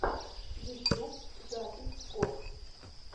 ютьюб запись кор